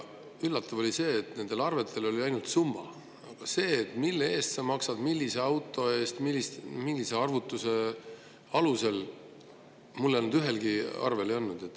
Üllatav oli see, et nendel arvetel on ainult summa, aga seda, mille eest ma maksan, millise auto eest, millise arvutuse alusel, ühelgi arvel ei ole.